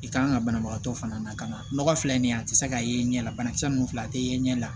I kan ka banabagatɔ fana na ka na nɔgɔ filɛ nin ye a tɛ se k'a ye ɲɛ la banakisɛ ninnu filɛ a tɛ ye ɲɛ la